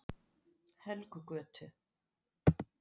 Helgugötu